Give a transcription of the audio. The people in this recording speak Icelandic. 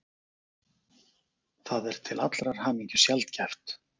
Það er til allrar hamingju sjaldgæft.